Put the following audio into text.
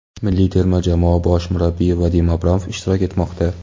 Milliy terma jamoa bosh murabbiyi Vadim Abramov ishtirok etmoqda.